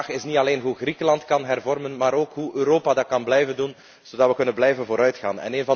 De vraag is niet alleen hoe Griekenland kan hervormen, maar ook hoe Europa dat kan blijven doen, zodat we kunnen blijven vooruitgaan.